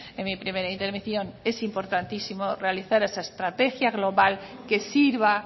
en mi primera intervención es importantísimo realizar esa estrategia global que sirva